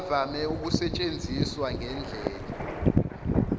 avame ukusetshenziswa ngendlela